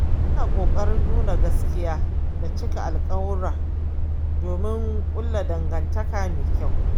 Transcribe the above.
Ina kokarin nuna gaskiya da cika alkawura domin kulla dangantaka mai kyau.